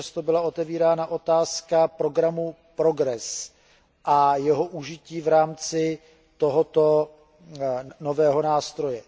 často byla zmiňována otázka programu PROGRESS a jeho užití v rámci tohoto nového nástroje.